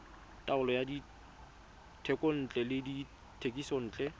taolo ya dithekontle le dithekisontle